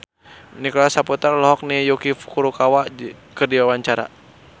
Nicholas Saputra olohok ningali Yuki Furukawa keur diwawancara